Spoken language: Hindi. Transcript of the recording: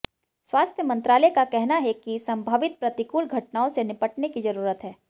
स्वास्थ्य मंत्रालय का कहना है कि संभावित प्रतिकूल घटनाओं से निपटने की जरूरत है